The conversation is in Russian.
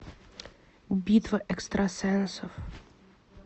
битва экстрасенсов